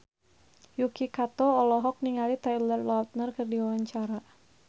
Yuki Kato olohok ningali Taylor Lautner keur diwawancara